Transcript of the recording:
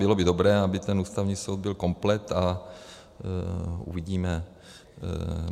Bylo by dobré, aby ten Ústavní soud byl komplet, a uvidíme.